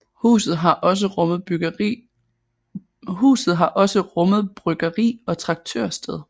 Huset har også rummet bryggeri og traktørsted